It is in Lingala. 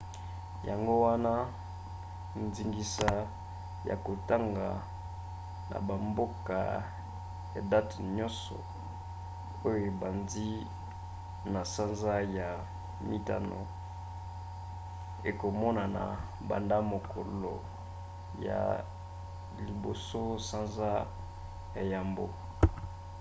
yango wana ndingisa ya kotonga na bamboka ya date nyonso oyo ebandi na sanza ya mitano ekomonana banda mokolo ya 1 sanza ya yambo